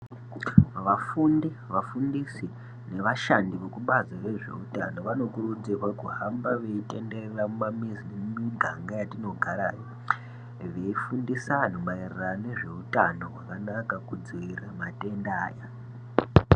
Vafundi, vafundisi nevashandi vekubazi rezveutano vanokurudzirwa kuhamba veitenderera mumamizi nemiganga yatinogara veifundisa antu maererano nezveutano hwakanaka kudzivirira matenda ayo.